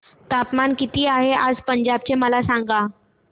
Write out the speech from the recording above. तापमान किती आहे आज पंजाब चे मला सांगा